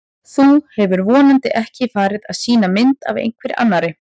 Þú hefur vonandi ekki farið að sýna mynd af einhverri annarri!